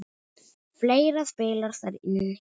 Fleira spilar þar inn í.